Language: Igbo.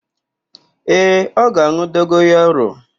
Ee, ọ ga-an̄ụ dogoyaro.